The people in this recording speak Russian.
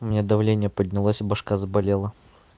у меня давление поднялось и башка заболела